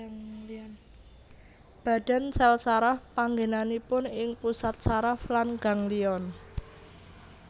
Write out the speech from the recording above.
Badan sèl saraf panggènanipun ing pusat saraf lan ganglion